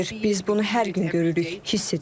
Biz bunu hər gün görürük, hiss edirik.